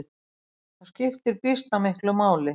Það skiptir býsna miklu máli.